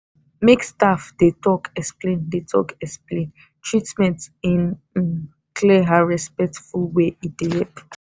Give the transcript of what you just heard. make staff dey talk explain dey talk explain treatment in um clear and respectful way e dey help.